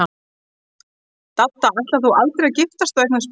Dadda, ætlar þú aldrei að giftast og eignast börn?